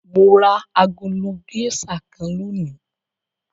Mo ra agolo géíṣà kan lónìí.